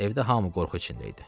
Evdə hamı qorxu içində idi.